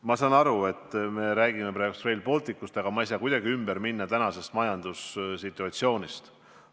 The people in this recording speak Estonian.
Ma saan aru, et me räägime praegu Rail Balticust, aga ma ei saa kuidagi mööda minna tänasest majandussituatsioonist.